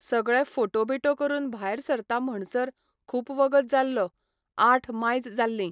सगळे फोटो बिटो करून भायर सरता म्हणसर खूब वगत जाल्लो, आठ मायज जाल्लीं.